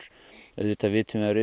auðvitað vitum við af